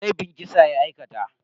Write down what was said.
Laifin kisa ya aikata.